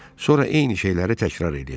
Sonra eyni şeyləri təkrar eləyəcəm.